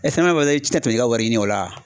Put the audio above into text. E sɛnɛ mana. Ani, i tɛ na tɛmɛ n'i ka wari ɲini o la.